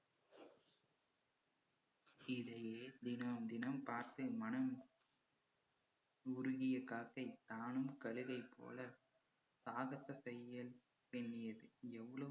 தினம் தினம் பார்த்து மனம் உருகிய காக்கை தானும் கழுகைப்போல சாகசத்தை